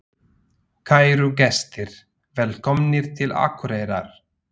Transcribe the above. Kæru gestir! Velkomnir til Akureyrar.